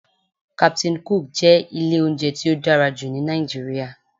"Captain cook" jẹ́ ilé oúnjẹ tí ó dára jù ní Nàìjíríà